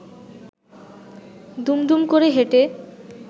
দুম দুম করে হেঁটে